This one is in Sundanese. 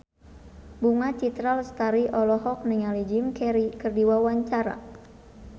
Bunga Citra Lestari olohok ningali Jim Carey keur diwawancara